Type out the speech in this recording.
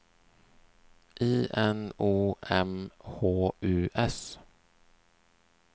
I N O M H U S